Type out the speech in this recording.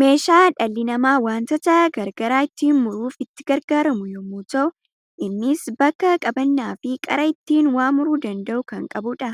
Meeshaa dhalli nama wantoota garagaraa ittin muruuf itti gargaraamu yemmuu ta'u, innis bakka qabanna fi qara ittin waa muruu danda'u kan qabudha.